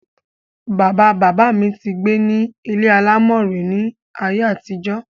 bàbá bàbá mi ti gbé ní ilé alámọ̀ rí ní ayé àtijọ́.